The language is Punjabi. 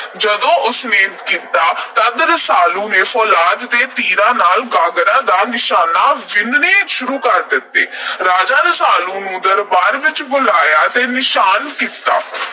ਜਦੋਂ ਉਸਨੇ ਕੀਤਾ ਤਦ ਰਸਾਲੂ ਨੇ ਫੌਲਾਦ ਦੇ ਤੀਰਾਂ ਨਾਲ ਗਾਗਰਾਂ ਦੇ ਨਿਸ਼ਾਨੇ ਵਿੰਨ੍ਹਣੇ ਸ਼ੁਰੂ ਕਰ ਦਿੱਤੇ। ਰਾਜੇ ਨੇ ਰਸਾਲੂ ਨੂੰ ਦਰਬਾਰ ਵਿੱਚ ਬੁਲਾਇਆ ਤੇ ਨਿਕਾਲਾ ਦੇ ਦਿੱਤਾ।